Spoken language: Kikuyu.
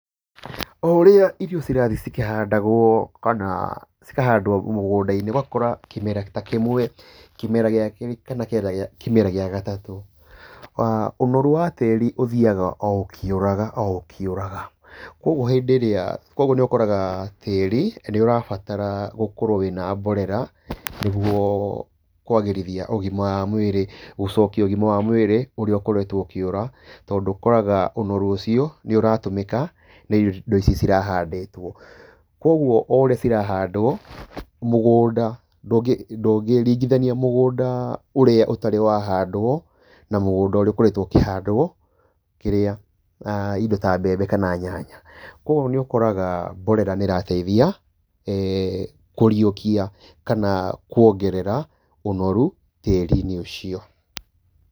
O ũrĩa irio cirathiĩ cikĩhandagwo kana cikahandwo mũgũnda-inĩ, ũgakora kĩmera ta kĩmwe kĩmera, gĩa kerĩ kana kĩge kĩmera gĩa gatatũ, ũnorũ wa tĩĩri ũthiaga oũkĩũraga oũkĩuraga, kwoguo hĩndĩ ĩrĩa, kwoguo nĩũkoraga tĩĩri nĩũrabatara gũkorwo wĩna mborera, nĩguo kwagĩrithia ũgima wa mwĩrĩ, gũcokia ũgima wa mwĩrĩ ũrĩa ũkoretwo ũkĩũra, tondũ ũkoraga ũnoru ũcio nĩũratũmĩka nĩ irio, nĩ indo icio cirahandĩtwo, kwoguo oũrĩa cirahandwo, mũgũnda ndũngĩ ndũngĩringithania mũgũnda ũrĩa ũtarĩ wa handwo na mũgũnda ũrĩa ũkoretwo ũkĩhandwo, kĩrĩa ĩndo ta mbembe kana nyanya. Kwoguo nĩũkoraga mborera nĩirateithia kũriũkia kana kwongerera ũnoru tĩĩri-inĩ ũcio.